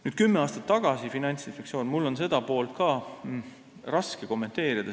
Nüüd, Finantsinspektsioon kümme aastat tagasi – mul on seda poolt ka raske kommenteerida.